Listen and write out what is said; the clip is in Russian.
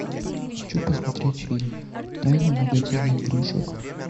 хочу посмотреть фильм тайна магазина игрушек